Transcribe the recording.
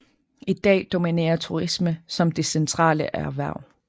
I dag dominerer turisme som det centrale erhverv